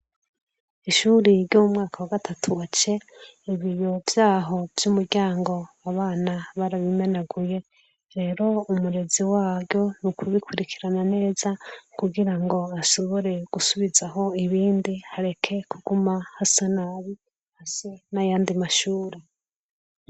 Ishuri ryo mu mwaka wa gatatu C, ibiyo vyaho vy'umuryango abana barabimenaguye, rero umurezi wabo mukubikurukirana neza, kugira ngo bashobore gusubizaho ibindi hareke kuguma hasa nabi hase n'ayandi mashuri.